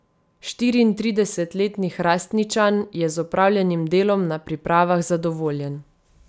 Štiriintridesetletni Hrastničan je z opravljenim delom na pripravah zadovoljen.